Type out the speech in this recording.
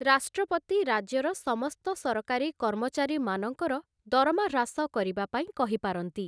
ରାଷ୍ଟ୍ରପତି ରାଜ୍ୟର ସମସ୍ତ ସରକାରୀ କର୍ମଚାରୀମାନଙ୍କର ଦରମା ହ୍ରାସ କରିବା ପାଇଁ କହିପାରନ୍ତି ।